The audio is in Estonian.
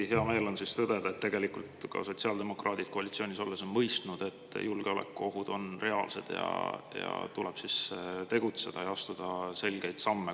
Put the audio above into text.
Hea meel on tõdeda, et ka sotsiaaldemokraadid on koalitsioonis olles mõistnud, et julgeolekuohud on reaalsed ja tuleb tegutseda ja astuda selgeid samme.